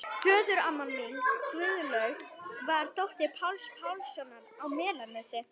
Föðuramma mín, Guðlaug, var dóttir Páls Pálssonar á Melanesi.